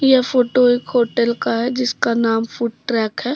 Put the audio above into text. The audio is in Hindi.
यह फोटो एक होटल का है जिसका नाम फूड ट्रैक है।